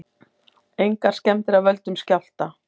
Engar skemmdir af völdum skjálfta